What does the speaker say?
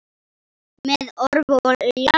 Með orf og ljá.